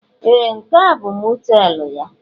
Ee! Nke a bụ mọteelụ ya?